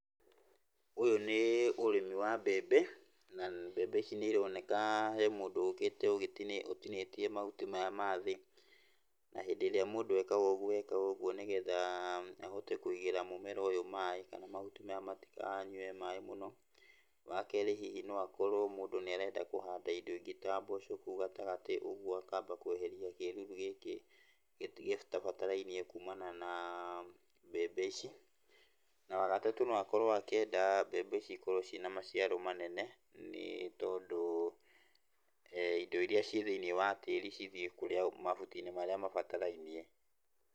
Ũyũ nĩ ũrĩmi wa mbembe, na mbembe ici nĩ ironeka he mũndũ ũkĩte ũgĩti, ũtinĩtie mahuti maya mathĩ, na hĩndĩ ĩrĩa mũndũ ekaga ũgwo ekaga ũgwo nĩgetha ahote kũigĩra mũmeera ũyũ maaĩ kana mahuti maya matikanyue maaĩ mũno, wakerĩ hihi no akorwo mũndũ nĩ arenda kũhanda indo ingĩ ta mboco kũu gatagatĩ, ũgwo akamba kweheria kĩruru gĩkĩ gĩtabatarainie kumana na mbembe ici, na wagatatũ no akorwo akĩenda mbembe ici ikorwo ciina maciaro manene, nĩ tondũ indo iria ciĩ thĩiniĩ wa tĩri cithiĩ kũrĩa, mahuti-inĩ marĩa mabatarainie.